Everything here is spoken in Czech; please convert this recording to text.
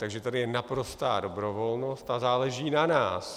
Takže tady je naprostá dobrovolnost a záleží na nás.